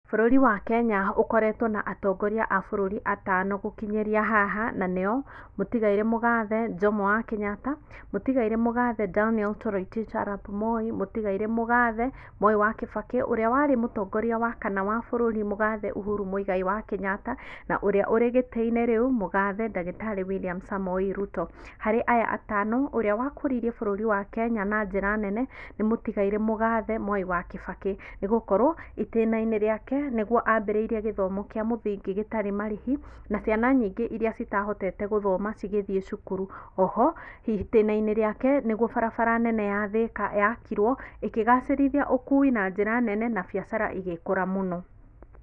Bũrũri wa Kenya ũkoretwo na atongoria a bũrũri atano gũkinyĩria haha na nĩo, mũtigairĩ mũgathe Jomo wa Kenyatta, mũtigairĩ mũgathe Daniel Torotich Arap Moi, mũtigairĩ mũgathe Mwai wa Kĩbakĩ, ũrĩa warĩ mũtongoria wa kana wa bũrũri mũgathe Uhuru Mũigai wa Kenyatta na ũrĩa ũrĩ gĩtĩ-inĩ rĩu, Mũgathe ndagĩtarĩ William Samoei Ruto. Harĩ aya atano, ũrĩa wa kũririe bũrũri wa Kenya na njĩra nene nĩ mũtigairĩ mũgathe Mwai wa Kĩbakĩ nĩgũkorwo itĩna-inĩ rĩake nĩguo ambĩrĩirie gĩthomo kĩa mũthingi gĩtarĩ marĩhi na ciana nyĩngĩ irĩa citahotete gũthoma cigĩthiĩ thukuru, o ho itĩna-inĩ rĩake nĩguo barabara nene ya Thĩka yakirwo ĩkĩgacĩrithia ũkui na njĩra nene na biacara igĩkũra mũno.